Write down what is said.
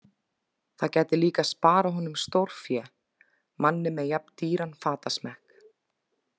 Það gæti líka sparað honum stórfé, manni með jafn dýran fatasmekk.